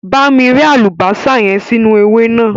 Bá mi rẹ́ àlùbásà sínú ẹ̀wà naa